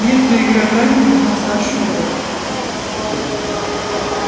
между игроками поднялся шёпот